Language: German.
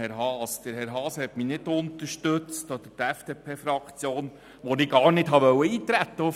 Herr Haas oder die FDPFraktion haben mich nicht unterstützt, als ich auf dieses Gesetz gar nicht eintreten wollte.